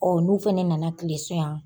n'u fɛnɛ nana kilen so yan